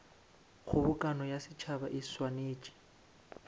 kgobokano ya setšhaba e swanetše